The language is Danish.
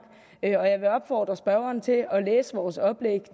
og jeg vil opfordre spørgeren til at læse vores oplæg